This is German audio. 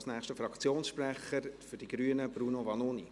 Nun als nächsten Fraktionssprecher für die Grünen, Bruno Vanoni.